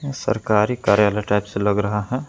ये सरकारी कार्यालय टाइप से लग रहा है।